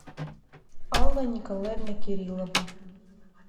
алла николаевна кириллова